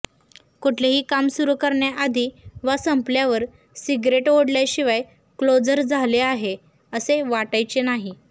कुठलेही काम सुरु करण्याआधी वा संपल्यावर सिगरेट ओढल्याशिवाय कोल्जर झाले आहे असे वाटायचे नाही